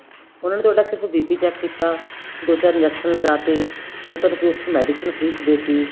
ਉਹਨਾ ਨੇ ਤੁਹਾਡਾ ਕੁੱਝ BP check ਕੀਤਾ ਦੋ ਚਾਰ injection ਲਗਾ ਤੇ ਜਾਂ ਤੁਹਾਨੂੰ ਕੋਈ ਉੱਥੋ medicine free ਚ ਦੇਤੀ